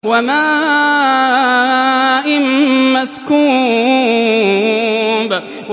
وَمَاءٍ مَّسْكُوبٍ